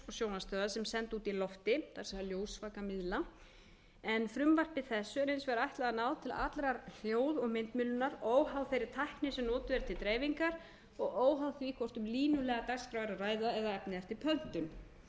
sjónvarpsstöðva sem sendu út í loftið það er ljósvakamiðla en frumvarpi þessu er hins vegar ætlað að ná til allrar hljóð og myndmiðlunar óháð þeirri tækni sem notuð er til dreifingar og óháð því hvort um línulega dagskrá er að ræða eða efni eftir